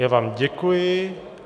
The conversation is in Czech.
Já vám děkuji.